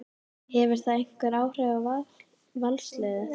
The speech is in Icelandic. Hefur það einhver áhrif á Valsliðið?